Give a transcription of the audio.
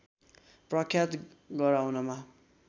प्रख्यात गराउनमा